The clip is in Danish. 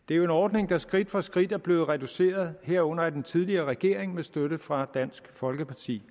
det er jo en ordning der skridt for skridt er blevet reduceret herunder af den tidligere regering med støtte fra dansk folkeparti